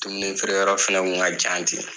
Dumuni feere yɔrɔ fɛnɛ tun ka jan ten